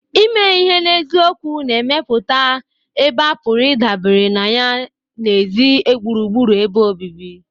Ime ihe n'eziokwu na-emepụta ebe a pụrụ Ịdabere na ya na ezị́ gbụrụgbụrụ ebe obibi.